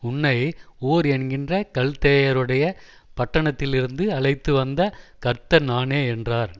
உன்னை ஊர் என்கின்ற கல்தேயருடைய பட்டணத்திலிருந்து அழைத்துவந்த கர்த்தர் நானே என்றார்